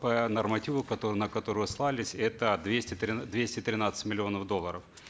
по нормативу который на который вы ссылались это двести двести тринадцать миллионов долларов